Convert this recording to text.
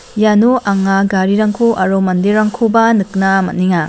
iano anga garirangko aro man....